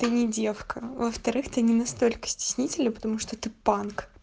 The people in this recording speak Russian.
не девка во-вторых ты не настолько стеснительный потому что ты панк